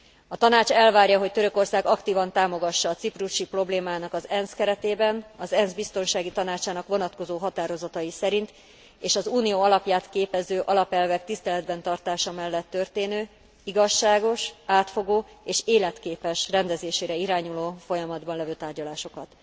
A Tanács elvárja, hogy Törökország aktívan támogassa a ciprusi problémának az ENSZ keretében, az ENSZ Biztonsági Tanácsának vonatkozó határozatai szerint, és az Unió alapját képező alapelvek tiszteletben tartása mellett történő igazságos, átfogó és életképes rendezésére irányuló folyamatban levő tárgyalásokat.